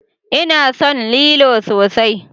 Ina son lilo sosai.